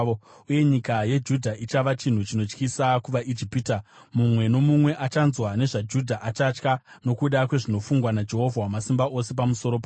Uye nyika yeJudha ichava chinhu chinotyisa kuvaIjipita; mumwe nomumwe achanzwa nezvaJudha achatya, nokuda kwezvinofungwa naJehovha Wamasimba Ose pamusoro pavo.